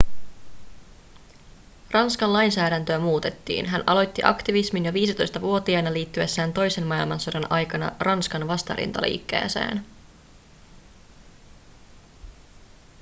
ranskan lainsäädäntöä muutettiin hän aloitti aktivismin jo 15-vuotiaana liittyessään toisen maailmansodan aikana ranskan vastarintaliikkeeseen